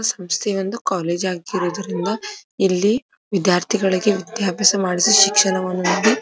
ಸಮಸ್ತೆ ಒಂದು ಕಾಲೇಜ್ ಆಗಿರೋದ್ರಿಂದ ಇಲ್ಲಿ ವಿದ್ಯಾರ್ಥಿಗಳಿಗೆ ವಿದ್ಯಾಭ್ಯಾಸ ಮಾಡಿಸಿ ಶಿಕ್ಷಣವನ್ನು ನೀಡಿ --